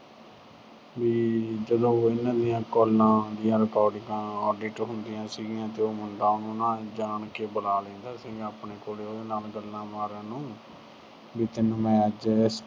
ਵੀ ਜਦੋਂ ਉਹਨਾਂ ਦੀਆਂ calls ਆਉਂਦੀਆਂ recording audit ਹੁੰਦੀਆਂ ਸੀਂਗੀਆਂ ਤੇ ਮੁੰਡਾ ਉਹਨੂੰ ਜਾਣ ਕੇ ਬੁਲਾ ਲੈਂਦਾ ਸੀਂਗਾ ਆਪਣੇ ਕੋਲ, ਉਹਦੇ ਨਾਲ ਗੱਲਾਂ ਮਾਰਨ ਨੂੰ। ਵੀ ਮੈਂ ਤੈਨੂੰ ਅੱਜ